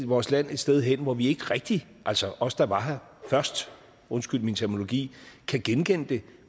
vores land et sted hen hvor vi ikke rigtigt altså os der var her først undskyld min terminologi kan genkende det